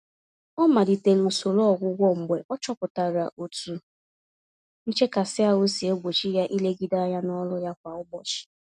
Ọ malitere usoro ọgwụgwọ mgbe ọ chọpụtara otu nchekasị-ahụ si egbochi ya ilegide ányá n'ọrụ ya kwa ụbọchị.